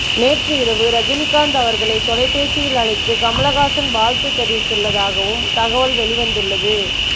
நேற்று இரவு ரஜினிகாந்த் அவர்களை தொலைபேசியில் அழைத்து கமலஹாசன் வாழ்த்து தெரிவித்ததாகவும் தகவல்கள் வெளிவந்துள்ளது